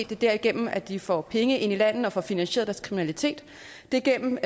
det er derigennem at de får penge ind i landet og får finansieret kriminalitet det er gennem